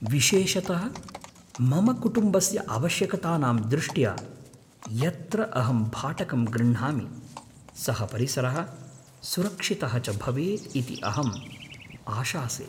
विशेषतः मम कुटुम्बस्य आवश्यकतानां दृष्ट्या, यत्र अहं भाटकं गृह्णामि सः परिसरः सुरक्षितः च भवेत् इति अहं आशासे।